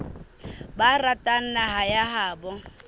ba ratang naha ya habo